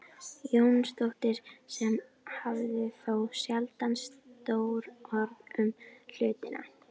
Jónsdóttir sem hafði þó sjaldan stór orð um hlutina.